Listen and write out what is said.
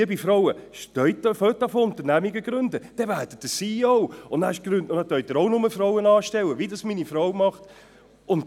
Liebe Frauen, fangen Sie an, Unternehmen zu gründen, dann werden Sie CEO, und dann können Sie auch nur Frauen einstellen, wie es meine Frau tut.